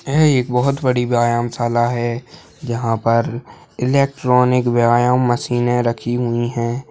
यह एक बहुत बड़ी व्यायाम शाला है जहां पर इलेक्ट्रॉनिक व्यायाम मशीने रखी हुई है।